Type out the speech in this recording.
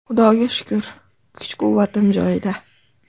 Xudoga shukr, kuch-quvvatim joyida.